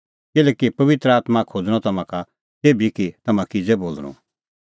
किल्हैकि पबित्र आत्मां खोज़णअ तम्हां का तेभी कि तम्हां किज़ै बोल़णअ